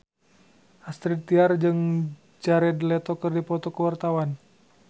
Astrid Tiar jeung Jared Leto keur dipoto ku wartawan